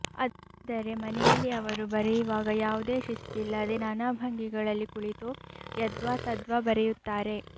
ಆದರೆ ಮನೆಯಲ್ಲಿ ಅವರು ಬರೆಯುವಾಗ ಯಾವುದೇ ಶಿಸ್ತಿಲ್ಲದೆ ನಾನಾ ಭಂಗಿಗಳಲ್ಲಿ ಕುಳಿತು ಯದ್ವಾತದ್ವಾ ಬರೆಯುತ್ತಾರೆ